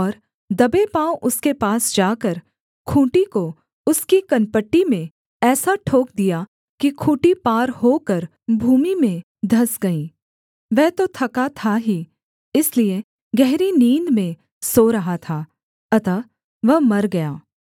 और दबे पाँव उसके पास जाकर खूँटी को उसकी कनपटी में ऐसा ठोक दिया कि खूँटी पार होकर भूमि में धँस गई वह तो थका था ही इसलिए गहरी नींद में सो रहा था अतः वह मर गया